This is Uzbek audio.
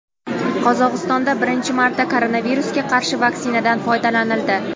Qozog‘istonda birinchi marta koronavirusga qarshi vaktsinadan foydalanildi.